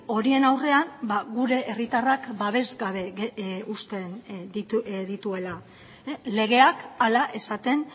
horien aurrean gure herritarrak babes gabe uzten dituela legeak hala esaten